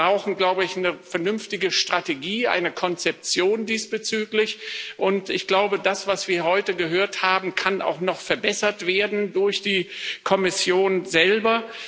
Wir brauchen, glaube ich, eine vernünftige Strategie, eine Konzeption diesbezüglich, und ich glaube, das, was wir heute gehört haben, kann auch noch verbessert werden durch die Kommission selber.